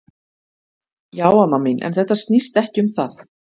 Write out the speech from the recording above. Já amma mín, en þetta snýst ekki um það.